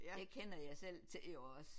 Det kender jeg selv til jo også